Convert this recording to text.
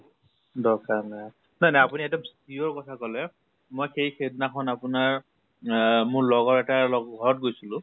দৰ্কাৰে নাই। নাই নাই আপুনি এক্দম sure কথা কলে মই সেই সেইদিনা খন আপোনাৰ আহ মোৰ লগৰ এটাৰ লগত লগ ঘৰত গৈছিলো